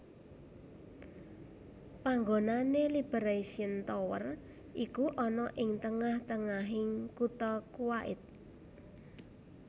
Panggonané Liberation Tower iku ana ing tengah tengahing kutha Kuwait